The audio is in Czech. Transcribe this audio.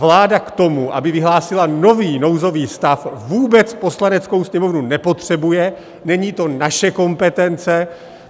Vláda k tomu, aby vyhlásila nový nouzový stav, vůbec Poslaneckou sněmovnu nepotřebuje, není to naše kompetence.